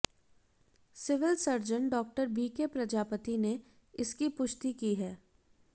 civil surgeon Dr BK Prajapati ने इसकी पुष्टि की है